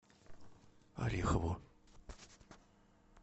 орехову